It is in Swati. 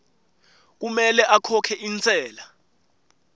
kumele akhokhe intsela